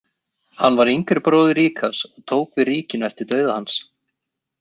Hann var yngri bróðir Ríkharðs og tók við ríkinu eftir dauða hans.